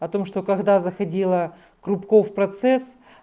потому что когда заходила корубков процесс